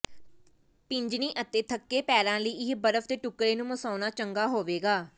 ਪਿੰਜਣੀ ਅਤੇ ਥੱਕੇ ਪੈਰਾਂ ਲਈ ਇਹ ਬਰਫ਼ ਦੇ ਟੁਕੜੇ ਨੂੰ ਮਸਾਉਣਾ ਚੰਗਾ ਹੋਵੇਗਾ